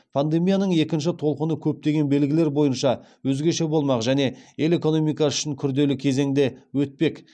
пандемияның екінші толқыны көптеген белгілері бойынша өзгеше болмақ және ел экономикасы үшін күрделі кезеңде өтпек